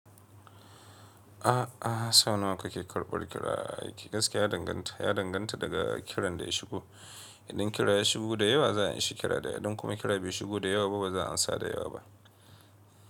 A a, sau nawa kake karɓar kira? Gaskiya ya danganta, ya danganta daga kiran da ya shigo. Idan kira ya shigo da yawa za a anshi kira da yawa, idan kuma kira bai shigo da yawa ba ba za a amsa da yawa ba.